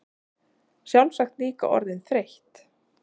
Sjálfsagt líka orðin þreytt.